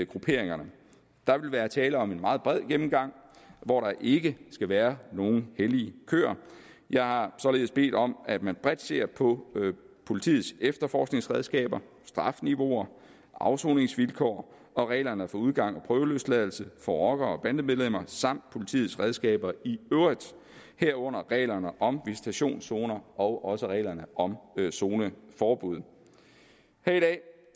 grupperingerne der vil være tale om en meget bred gennemgang hvor der ikke skal være nogen hellige køer jeg har således bedt om at man bredt ser på politiets efterforskningsredskaber strafniveauer afsoningsvilkår og reglerne for udgang og prøveløsladelse for rocker bande medlemmer samt politiets redskaber i øvrigt herunder reglerne om visitationszoner og også reglerne om zoneforbud